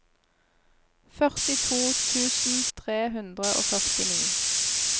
førtito tusen tre hundre og førtini